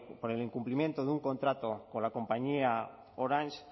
por el incumplimiento de un contrato con la compañía orange